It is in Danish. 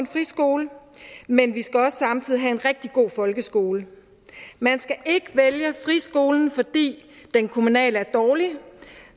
friskole men vi skal samtidig også have en rigtig god folkeskole man skal ikke vælge friskolen fordi den kommunale er dårlig